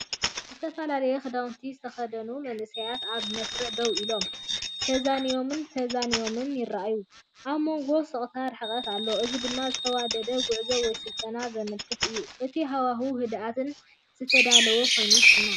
ዝተፈላለየ ክዳውንቲ ዝተኸድኑ መንእሰያት ኣብ መስርዕ ደው ኢሎም፡ ተዛኒዮምን ተዛኒዮምን ይረኣዩ። ኣብ መንጎኦም ስቕታን ርሕቀትን ኣሎ፣ እዚ ድማ ዝተዋደደ ጉዕዞ ወይ ስልጠና ዘመልክት እዩ፤ እቲ ሃዋህው ህድኣትን ዝተዳለወን ኮይኑ ይስምዓካ።